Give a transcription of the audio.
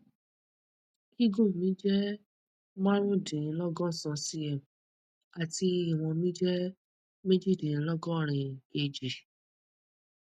gígùn mi jẹ marundinlogosan cm àti ìwọn mi jẹ mejidinlogorin kg